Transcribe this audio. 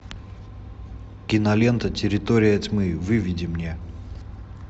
кинолента территория тьмы выведи мне